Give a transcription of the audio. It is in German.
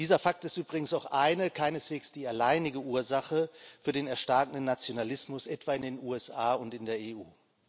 Dieser Fakt ist übrigens auch eine, aber keineswegs die alleinige Ursache für den erstarkenden Nationalismus etwa in den USA und in der EU.